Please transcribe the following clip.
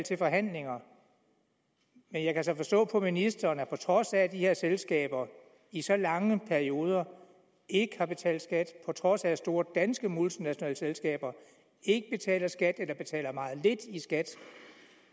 til forhandlinger men jeg kan så forstå på ministeren at på trods af at de her selskaber i så lange perioder ikke har betalt skat på trods af at store danske multinationale selskaber ikke betaler skat eller betaler meget lidt i skat